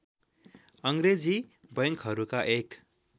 अङ्ग्रेजी बैंकहरूका एक